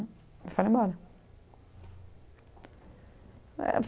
E foram embora.